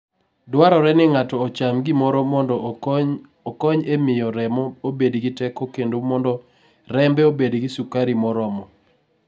Dwarore ni ng'ato ocham gimoro mondo okony e miyo remo obed gi teko kendo mondo rembe obed gi sukari moromo.